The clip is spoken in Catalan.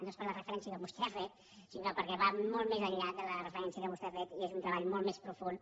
no és per la refe·rència que vostè ha fet sinó perquè va molt més enllà de la referència que vostè ha fet i és un treball molt més profund